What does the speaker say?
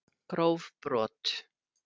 Gróf brot